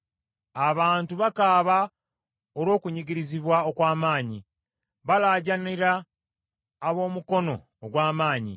Abantu bakaaba olw’okunyigirizibwa okw’amaanyi, balaajaanira ab’omukono ogw’amaanyi.